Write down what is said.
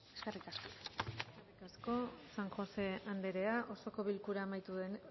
eskerrik asko eskerrik asko san josé anderea